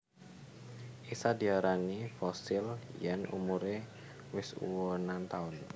Isa diarani fosil yen umure wis ewunan taun